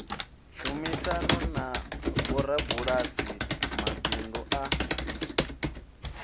tshumisano na vhorabulasi mabibdu a